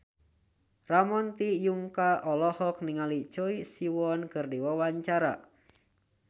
Ramon T. Yungka olohok ningali Choi Siwon keur diwawancara